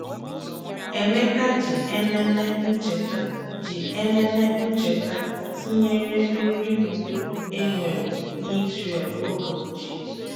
Emeka ji Ememe Ncheta ji Ememe Ncheta tụnyere nri udo e nwere n’Izrel oge ochie.